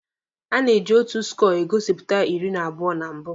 A na-eji otu skọọ egosipụta iri na abụọ na mbụ.